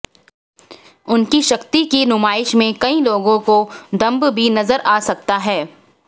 उनकी शक्ति की नुमाइश में कई लोगों को दंभ भी नजर आ सकता है